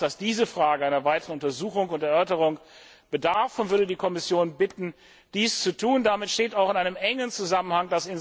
Ich meine auch, dass diese Frage einer weiteren Untersuchung und Erörterung bedarf, und würde die Kommission bitten, dies zu tun. Damit steht auch das Insolvenzrecht in einem engen Zusammenhang.